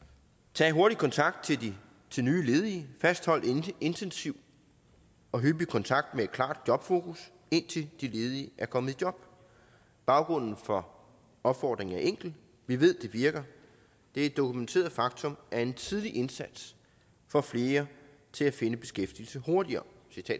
tag en hurtig kontakt til nye ledige fasthold intensiv og hyppig kontakt med et klart jobfokus indtil de ledige er kommet i job baggrunden for opfordringen er enkel vi ved at det virker det er et dokumenteret faktum at en tidlig indsats får flere til at finde beskæftigelse hurtigere